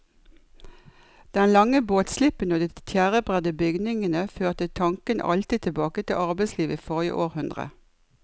Den lange båtslippen og de tjærebredde bygningene førte tanken alltid tilbake til arbeidslivet i forrige århundre.